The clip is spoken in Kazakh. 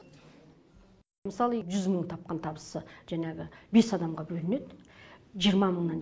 мысалы жүз мың тапқан табысы жаңағы бес адамға бөлінеді жиырма мыңнан